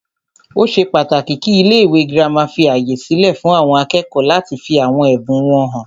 Ó ṣe pàtàkì kí ilé ìwé gírámà fí ààyè sílẹ fún àwọn akẹ́kọ̀ọ́ láti fí àwọn ẹbùn wọn hàn.